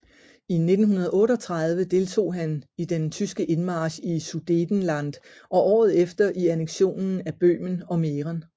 I 1938 deltog han i den tyske indmarch i Sudetenland og året efter i anneksionen af Böhmen og Mähren